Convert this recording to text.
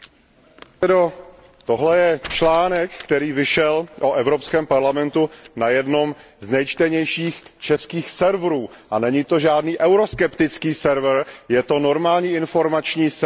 Pane předsedající, tohle je článek, který vyšel o Evropském parlamentu na jednom z nejčtenějších českých serverů a není to žádný euroskeptický server, je to normální informační server.